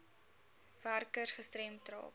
werkers gestremd raak